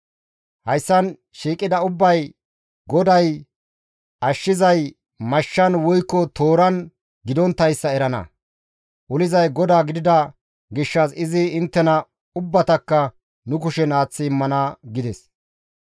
Hayssan shiiqida ubbay GODAY ashshizay mashshan woykko tooran gidonttayssa erana; olizay GODAA gidida gishshas izi inttena ubbatakka nu kushen aaththi immana» gides.